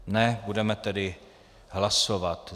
Ne, budeme tedy hlasovat.